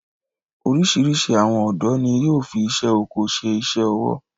Orísirísi àwọn ọ̀dọ́ ni yóò fi isé oko ṣe iṣẹ ọwọ